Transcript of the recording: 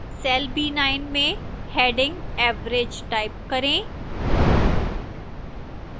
cell b9 में heading average type करें